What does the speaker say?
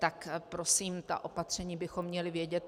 Tak prosím, ta opatření bychom měli vědět.